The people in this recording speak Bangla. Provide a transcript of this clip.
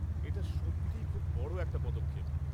এটা সত্যিই খুব বড় একটা পদক্ষেপ!